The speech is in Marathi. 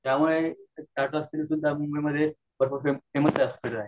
त्यामुळे टाटा हॉस्पिटल हे मुंबई मध्ये खूप फेमस आहे